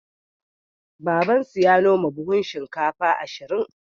Babansu ya noma buhun shinkafa ashirin.